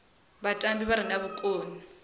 vhatambi vha re na vhukoni